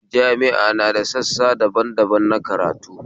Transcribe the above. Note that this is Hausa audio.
Jami'a na da sassa daban daban na karatu